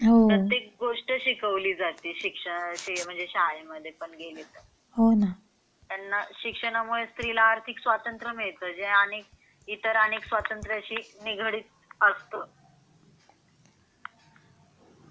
प्रत्येक गोष्ट शिकवली जाते शिक्षण म्हणजे शाळे मध्ये गेला तर त्याना शिक्षण मुळे स्त्री ला आर्थिक स्वतंत्र मिळत. इतर आणि स्वतंत्र शी निघाडीत असत.